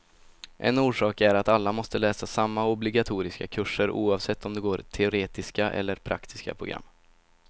En orsak är att alla måste läsa samma obligatoriska kurser, oavsett om de går teoretiska eller praktiska program.